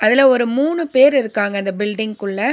அதுல ஒரு மூணு பேர் இருக்காங்க அந்த பில்டிங்குள்ள .